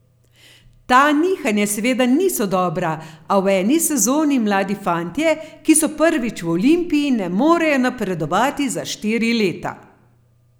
Ta nihanja seveda niso dobra, a v eni sezoni mladi fantje, ki so prvič v Olimpiji, ne morejo napredovati za štiri leta.